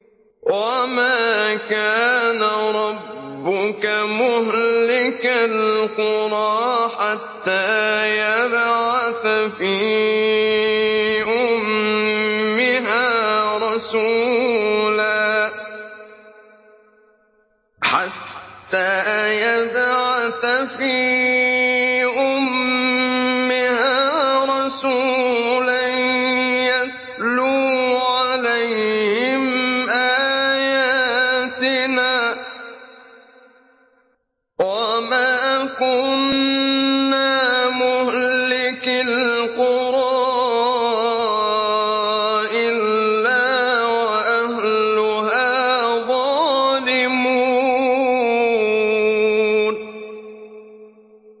وَمَا كَانَ رَبُّكَ مُهْلِكَ الْقُرَىٰ حَتَّىٰ يَبْعَثَ فِي أُمِّهَا رَسُولًا يَتْلُو عَلَيْهِمْ آيَاتِنَا ۚ وَمَا كُنَّا مُهْلِكِي الْقُرَىٰ إِلَّا وَأَهْلُهَا ظَالِمُونَ